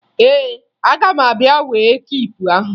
Ee, aga m abịa wee kiipu ahụ